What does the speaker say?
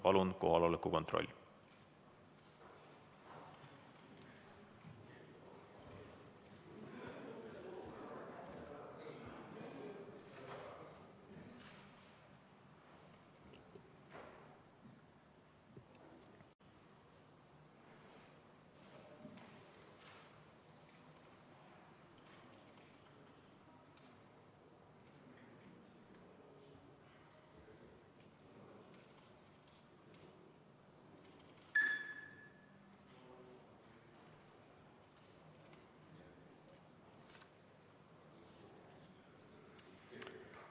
Palun teeme kohaloleku kontrolli!